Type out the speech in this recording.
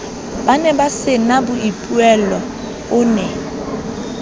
ba nebasena boipuello o ne